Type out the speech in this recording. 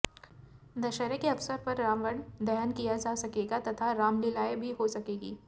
दशहरे के अवसर पर रावण दहन किया जा सकेगा तथा रामलीलाएं भी हो सकेंगी